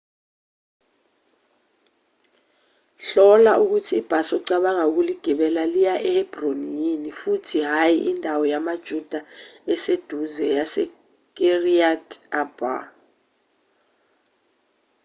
hlola ukuthi ibhasi ocabanga ukuligibela liya ehebroni yini futhi hhayi indawo yamajuda eseduze yasekiryat arba